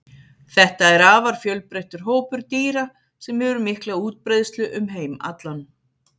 Þetta er afar fjölbreyttur hópur dýra sem hefur mikla útbreiðslu um heim allan.